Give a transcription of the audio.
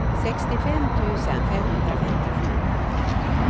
sextiofem tusen femhundrafemtiosju